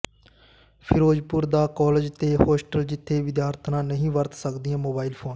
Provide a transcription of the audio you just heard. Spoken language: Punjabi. ਫਿ਼ਰੋਜ਼ਪੁਰ ਦਾ ਕਾਲਜ ਤੇ ਹੋਸਟਲ ਜਿੱਥੇ ਵਿਦਿਆਰਥਣਾਂ ਨਹੀਂ ਵਰਤ ਸਕਦੀਆਂ ਮੋਬਾਇਲ ਫ਼ੋਨ